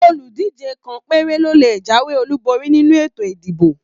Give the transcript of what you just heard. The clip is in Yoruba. Oludije kàn péré ló lè jáwé Olu borí nínú ètò ìdìbò.